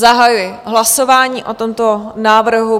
Zahajuji hlasování o tomto návrhu.